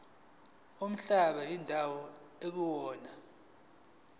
nomhlaba indawo ekuyona